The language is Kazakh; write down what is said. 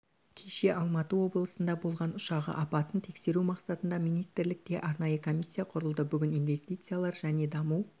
кеше алматы облысында болған ұшағы апатын тексеру мақсатында министрлікте арнайы комиссия құрылды бүгін инвестициялар және даму